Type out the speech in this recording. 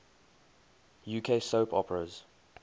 uk soap operas